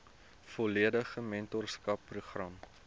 volledige mentorskap program